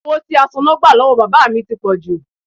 Owó tí asoná gbà lọ́wọ́ bàbá mi ti pọ̀jù